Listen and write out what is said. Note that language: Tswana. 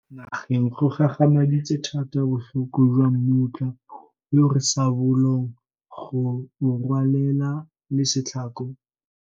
Nageng go gagamaditse thata botlhoko jwa mmutla yo re sa bolong go o rwalelela le setlhako.